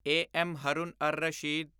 A. M. Haroon Ar Rashid